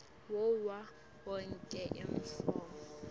wawo onkhe emafomu